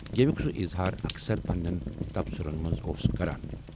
ییمیُک سُہ اظہار اکثر پنہٕ نٮ۪ن تبصرٕن منز اوس کران۔